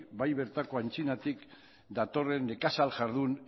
bai bertako antzinatik datorren nekazal jardun